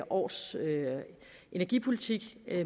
års energipolitik